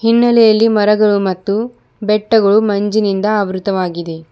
ಹಿನ್ನಲೆಯಲ್ಲಿ ಮರಗಳು ಮತ್ತು ಬೆಟ್ಟಗಳು ಮಂಜಿನಿಂದ ಆವೃತವಾಗಿದೆ.